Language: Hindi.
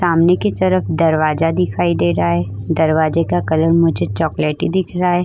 सामने की तरफ दरवाजा दिखाई दे रहा है दरवाजे का कलर मुझे चोकोलाटी दिख रहा है।